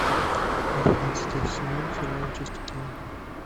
двенадцатый сезон сериала части тела